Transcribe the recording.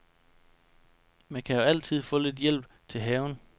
Man kan jo altid få lidt hjælp til haven.